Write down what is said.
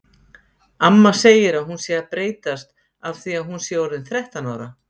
Amma segir að hún sé að breytast af því að hún sé orðin þrettán ára.